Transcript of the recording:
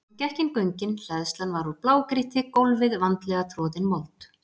Hann gekk inn göngin, hleðslan var úr blágrýti, gólfið vandlega troðin mold.